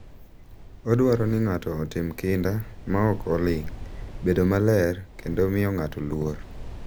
Odwaro ni ng’ato otim kinda ma ok oling’, bedo maler, kendo miyo ng’ato luor.